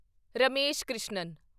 Ramesh Krishnan